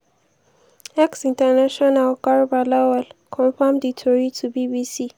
ex international garba lawal confam di tori to bbc.